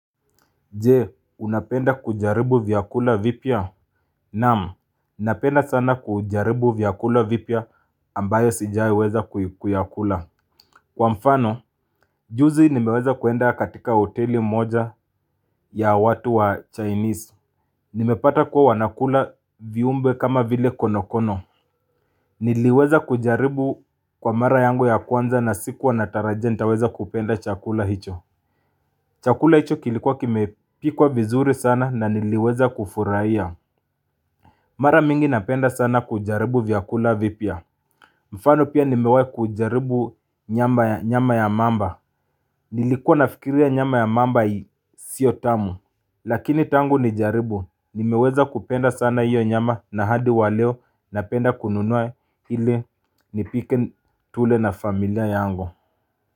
Jee, unapenda kujaribu vyakula vipya? Naam, napenda sana kujaribu vyakula vipya ambayo sijaiweza kuyakula. Kwa mfano, juzi nimeweza kwenda katika hoteli moja ya watu wa Chinese. Nimepata kuwa wanakula viumbe kama vile konokono. Niliweza kujaribu kwa mara yangu ya kwanza na sikuwa nataraja nitaweza kupenda chakula hicho. Chakula hicho kilikuwa kimepikwa vizuri sana na niliweza kufurahia Mara mingi napenda sana kujaribu vyakula vipya mfano pia nimewahi kujaribu nyama ya mamba Nilikuwa nafikiria nyama ya mamba sio tamu Lakini tangu nijaribu, nimeweza kupenda sana hiyo nyama na hadi wa leo napenda kununua ili nipike tule na familia yangu.